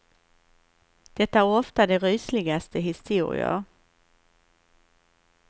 Det är ofta de rysligaste historier.